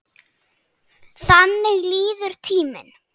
Þannig líður tíminn.